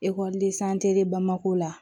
bamako la